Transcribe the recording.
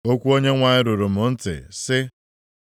Okwu Onyenwe anyị ruru m ntị, sị,